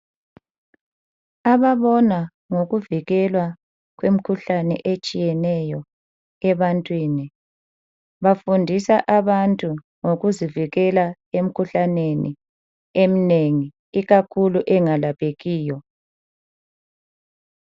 Ababona ngokuvikelwa kwemikhuhlane etshiyeneyo ebantwini, bafundisa abantu ngokuzivikela emkhuhlaneni eminengi ikakhulu engalaphekiyo.